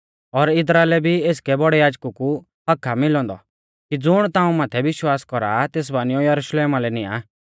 और इदरा लै भी एसकै बौड़ै याजकु कु हक्क्क आ मिलौ औन्दौ कि ज़ुण ताऊं माथै विश्वास कौरा आ तेस बानियौ यरुशलेमा लै निआं